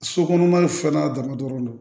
So kɔnɔ ni fɛn n'a dama dɔrɔn